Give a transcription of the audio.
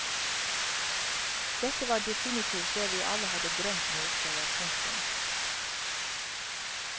Dette var definitivt det vi alle hadde drømt om å oppleve. punktum